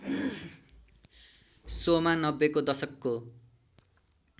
शोमा नब्बेको दशकको